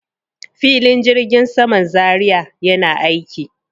Filin jirgin saman Zaria yana aiki.